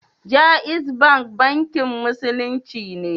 Jaiz Bank Bankin Musulunci ne